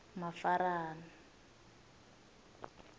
mafarana